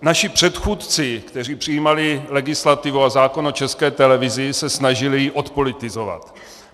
Naši předchůdci, kteří přijímali legislativu a zákon o České televizi, se snažili ji odpolitizovat.